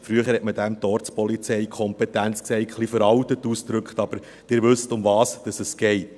Früher nannte man dies die «Ortspolizeikompetenz», ein bisschen veraltet ausgedrückt, aber Sie wissen, um was es geht.